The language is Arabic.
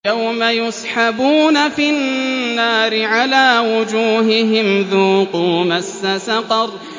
يَوْمَ يُسْحَبُونَ فِي النَّارِ عَلَىٰ وُجُوهِهِمْ ذُوقُوا مَسَّ سَقَرَ